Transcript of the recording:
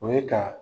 O ye ka